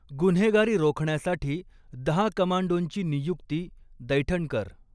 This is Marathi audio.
गुन्हेगारी रोखण्यासाठी दहा कमांडोंची नियुक्ती दैठणकर